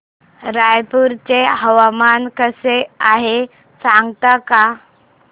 रायपूर चे हवामान कसे आहे सांगता का